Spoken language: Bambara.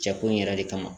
Jakulu in yɛrɛ de kama